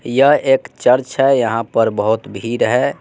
यह एक चर्च है यहां पर बहोत भीड़ है।